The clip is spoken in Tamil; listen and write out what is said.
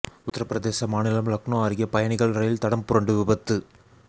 உத்தரப்பிரதேச மாநிலம் லக்னோ அருகே பயணிகள் ரயில் தடம் புரண்டு விபத்து